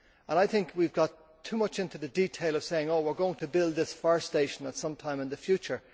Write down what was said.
I think we have got too much into the detail of saying oh, we are going to build this fire station at some time in the future.